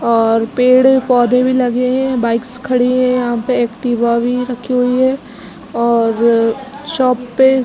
और पेड़-पौधे भी लगे है। बाइक्स खड़ी है। यहाँ पे एक्टिवा भी रखी हुई है और अ शॉप पे--